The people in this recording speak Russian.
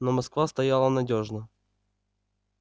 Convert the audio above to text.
но москва стояла надёжно